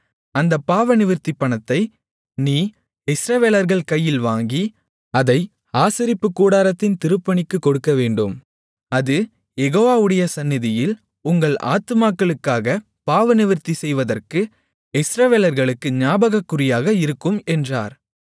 அந்த பாவநிவிர்த்தி பணத்தை நீ இஸ்ரவேலர்கள் கையில் வாங்கி அதை ஆசரிப்புக்கூடாரத்தின் திருப்பணிக்குக் கொடுக்கவேண்டும் அது யெகோவாவுடைய சந்நிதியில் உங்கள் ஆத்துமாக்களுக்காகப் பாவநிவிர்த்தி செய்வதற்கு இஸ்ரவேலர்களுக்கு ஞாபகக்குறியாக இருக்கும் என்றார்